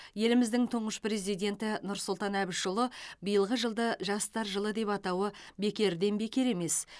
еліміздің тұңғыш президенті нұрсұлтан әбішұлы биылғы жылды жастар жылы деп атауы бекерден бекер емес